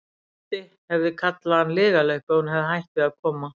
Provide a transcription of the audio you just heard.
Doddi hefði kallað hann lygalaup ef hún hefði hætt við að koma.